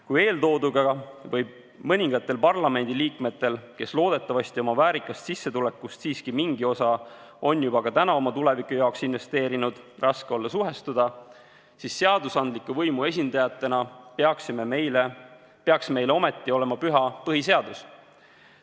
Kui eeltooduga võib mõningatel parlamendiliikmetel, kes loodetavasti oma väärikast sissetulekust siiski mingi osa on juba ka täna oma tuleviku jaoks investeerinud, olla raske suhestuda, siis seadusandliku võimu esindajatena peaks meile ometi olema püha põhiseadus.